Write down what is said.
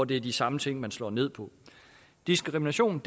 det er de samme ting man slår ned på diskrimination